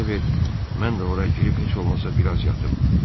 İcazə ver, mən də ora girib heç olmasa biraz yatım.